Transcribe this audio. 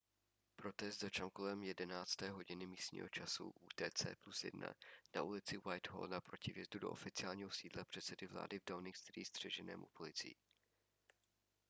protest začal kolem 11:00 h místního času utc +1 na ulici whitehall naproti vjezdu do oficiálního sídla předsedy vlády v downing street střeženému policií